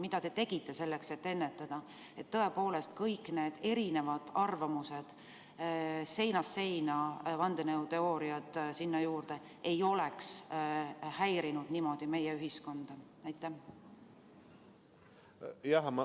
Mida te tegite selleks, et ennetada ja et kõik need erinevad arvamused, seinast seina vandenõuteooriad sinna juurde ei oleks häirinud niimoodi meie ühiskonda?